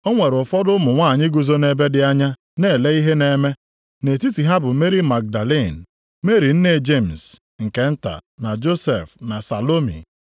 O nwere ụfọdụ ụmụ nwanyị guzo nʼebe dị anya na-ele ihe na-eme, nʼetiti ha bụ Meri Magdalin, Meri nne Jemis nke nta, na Josef, + 15:40 Nʼasụsụ Griik Joses bụkwa Josef . na Salomi.